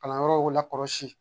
Kalanyɔrɔw la kɔlɔsi